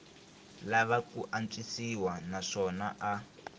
lava ku antswisiwa naswona a